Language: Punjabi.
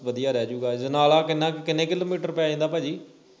ਵਧਿਆ ਰਹਿ ਜੂਗਾ ਅਜਨਾਲਾ ਕਿੰਨਾ ਕਿੰਨੇ ਕਿਲੋਮੀਟਰ ਪੈ ਜਾਂਦਾ ਭਾਜੀ